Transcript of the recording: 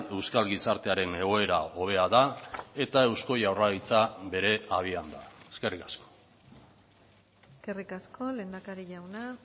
euskal gizartearen egoera hobea da eta eusko jaurlaritza bere habian da eskerrik asko eskerrik asko lehendakari jauna